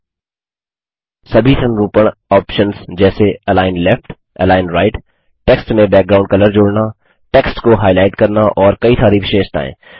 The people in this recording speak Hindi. सभी संरूपणफार्मेटिंग ऑप्शन्स जैसे align left align right text में बैकग्राउंड कलर जोड़ना टेक्स्ट को हाइलाइट करना और कई सारी विशेषताएँ